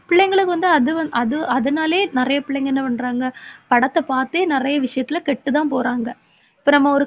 பிள்ளைங்களுக்கு வந்து அதுவந்~ அது அதனாலேயே நிறைய பிள்ளைங்க என்ன பண்றாங்க படத்தை பார்த்தே நிறைய விஷயத்துல கெட்டுதான் போறாங்க. இப்ப நம்ம ஒரு